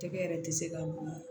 Tɛgɛ yɛrɛ tɛ se ka dun